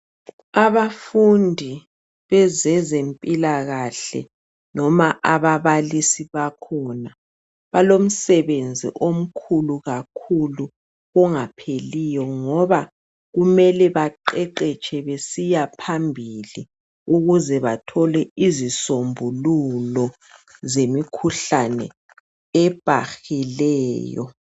Abafundi bezezempilakahle noma ababalisi bakhona balomsebenzi omkhulu kakhulu ongapheliyo ngoba kumele baqeqetshe besiyaphambili ukuze bathole izisombululo zemikhuhlane ebakileyo